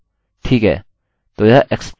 ठीक है तो यह explode है